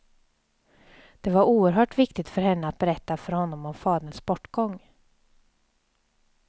Det var oerhört viktigt för henne att berätta för honom om faderns bortgång.